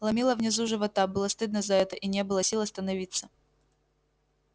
ломило внизу живота было стыдно за это и не было сил остановиться